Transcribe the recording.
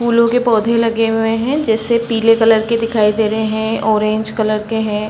फूलों के पौधे लगे हुए हैं जैसे पीले कलर के दिखाई दे रहे हैं ऑरेंज कलर के हैं।